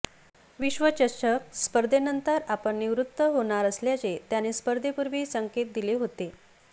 विश्वचषक स्पर्धेनंतर आपण निवृत्त होणार असल्याचे त्याने स्पर्धेपूर्वी संकेत दिले होते